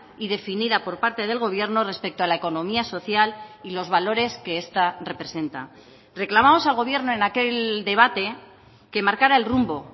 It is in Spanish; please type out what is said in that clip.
y definida por parte del gobierno respecto a la economía social y los valores que esta representa reclamamos al gobierno en aquel debate que marcara el rumbo